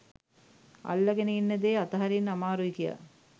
අල්ලගෙන ඉන්න දේ අතහරින්න අමාරුයි කියා